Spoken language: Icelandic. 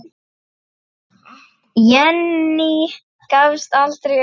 Jenný gafst aldrei upp.